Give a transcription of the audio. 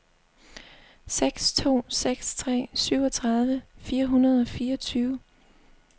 seks to seks tre syvogtredive fire hundrede og fireogtyve